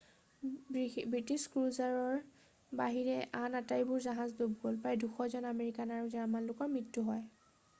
British ক্ৰুজাৰৰ বাহিৰে আন আটাইবোৰ জাহাজ ডুব গ'ল প্ৰায় 200 জন আমেৰিকান আৰু জাৰ্মান লোকৰ মৃত্যু হয়